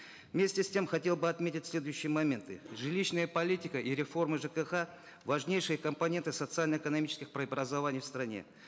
вместе с тем хотел бы отметить следующие моменты жилищная политика и реформы жкх важнейшие компоненты социально экономических преобразований в стране